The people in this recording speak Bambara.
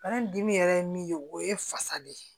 Bari dimi yɛrɛ ye min ye o ye fasa de ye